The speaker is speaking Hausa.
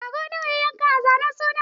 Rago nawa ya yanka a zanen sunan?